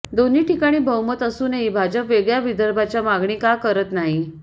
दोन्ही ठिकाणी बहुमत असूनही भाजप वेगळ्या विदर्भाच्या मागणी का करत नाही